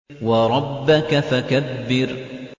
وَرَبَّكَ فَكَبِّرْ